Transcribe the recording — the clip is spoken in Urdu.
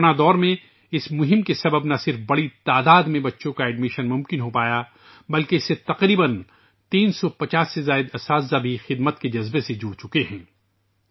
کورونا کے دوران اس مہم کی وجہ سے نہ صرف بڑی تعداد میں بچوں کا داخلہ ممکن ہوا بلکہ 350 سے زائد اساتذہ بھی خدمت کے جذبے کے ساتھ شامل ہوچکے ہیں